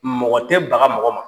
Mɔgɔ tɛ baga mɔgɔ ma,